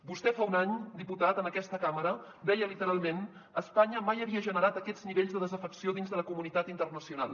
vostè fa un any diputat en aquesta cambra deia literalment espanya mai havia generat aquests nivells de desafecció dins de la comunitat internacional